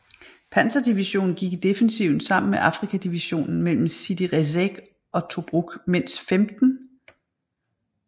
Panzerdivision gik i defensiven sammen med Afrika Divisionen mellem Sidi Rezegh og Tobruk mens 15